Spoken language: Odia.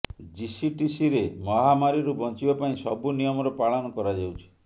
ଜିସିଟିସିରେ ମହାମାରୀରୁ ବଞ୍ଚିବା ପାଇଁ ସବୁ ନିୟମର ପାଳନ କରାଯାଉଛି